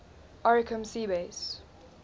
oricum sea base